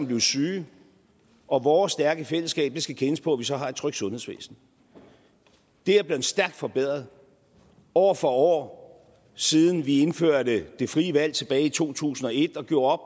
blive syge og vores stærke fællesskab skal kendes på at vi så har et trygt sundhedsvæsen det er blevet stærkt forbedret år for år siden vi indførte det frie valg tilbage i to tusind og et og gjorde op